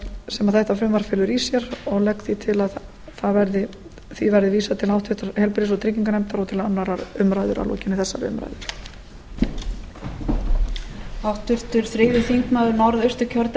sem þetta frumvarp felur í sér og legg því til að því verði vísað til háttvirtrar heilbrigðis og trygginganefndar og til annarrar umræðu að lokinni þessari umræðu